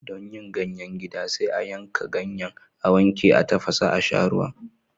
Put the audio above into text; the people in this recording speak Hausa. Don yin ganyen gida, sai a yanka ganyen, a wanke, a tafasa a sha ruwan.